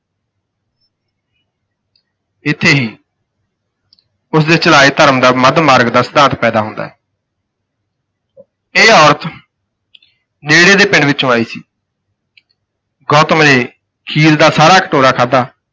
ਇੱਥੇ ਹੀ ਉਸ ਦੇ ਚਲਾਏ ਧਰਮ ਦਾ ਮੱਧ ਮਾਰਗ ਦਾ ਸਿਧਾਂਤ ਪੈਦਾ ਹੁੰਦਾ ਹੈ। ਇਹ ਔਰਤ ਨੇੜੇ ਦੇ ਪਿੰਡ ਵਿਚੋਂ ਆਈ ਸੀ। ਗੌਤਮ ਨੇ ਖੀਰ ਦਾ ਸਾਰਾ ਕਟੋਰਾ ਖਾਧਾ।